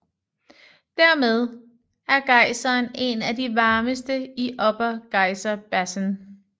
Dermed er gejseren en af de varmeste i Upper Geyser Basin